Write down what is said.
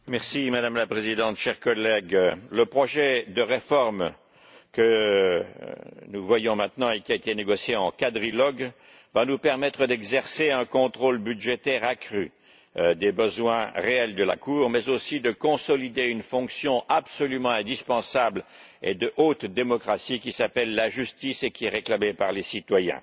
Madame la Présidente, chers collègues, le projet de réforme que nous examinons maintenant et qui a été négocié en quadrilogue va nous permettre d'exercer un contrôle budgétaire accru sur les besoins réels de la Cour, mais aussi de consolider une fonction absolument indispensable et de haute démocratie qui s'appelle la justice et qui est réclamée par les citoyens.